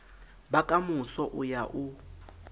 ba kamoso o ya o